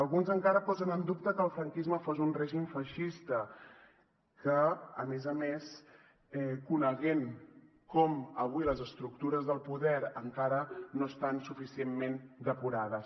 alguns encara posen en dubte que el franquisme fos un règim feixista coneixent com avui les estructures del poder encara no estan suficientment depurades